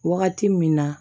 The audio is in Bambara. Wagati min na